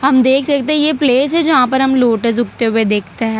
हम देख सकते हैं ये प्लेस है जहां पर हम लोटस उगते हुए देखते हैं।